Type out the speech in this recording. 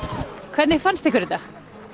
hvernig fannst ykkur þetta